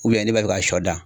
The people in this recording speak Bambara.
n'i b'a fɛ ka sɔ dan